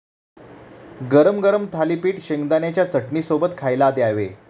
गरम गरम थालीपीठ शेंगदाण्याच्या चटणीसोबत खायला द्यावे.